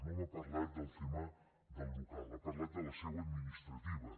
no m’ha parlat del tema del local ha parlat de la seu administrativa